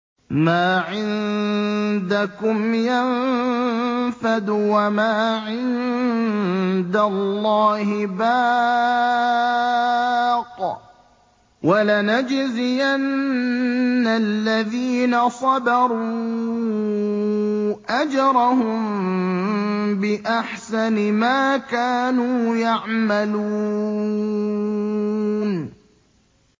مَا عِندَكُمْ يَنفَدُ ۖ وَمَا عِندَ اللَّهِ بَاقٍ ۗ وَلَنَجْزِيَنَّ الَّذِينَ صَبَرُوا أَجْرَهُم بِأَحْسَنِ مَا كَانُوا يَعْمَلُونَ